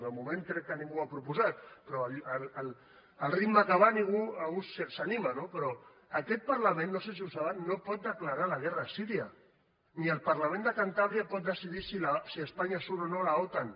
de moment crec que ningú ho ha proposat però al ritme que van algú s’hi anima no però aquest parlament no sé si ho saben no pot declarar la guerra a síria ni el parlament de cantàbria pot decidir si espanya surt o no de l’otan